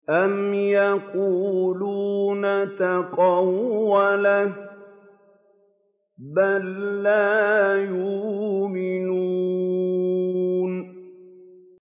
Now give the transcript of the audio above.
أَمْ يَقُولُونَ تَقَوَّلَهُ ۚ بَل لَّا يُؤْمِنُونَ